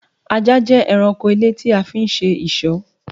Ajá jẹ ẹranko ilé tí a fi ń ṣe ìṣọ́